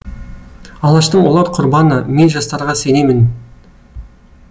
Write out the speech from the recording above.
алаштың олар құрбаны мен жастарға сенемін